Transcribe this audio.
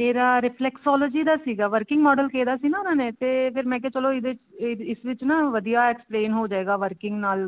ਮੇਰਾ reflexology working model ਕਿਹਾ ਸੀ ਨਾ ਉਹਨਾ ਨੇ ਮੈਂ ਕਿਹਾ ਚਲੋ ਇਹਦੇ ਇਸ ਵਿੱਚ ਨਾ ਵਧੀਆ explain ਹੋਜੇਗਾ working ਨਾਲ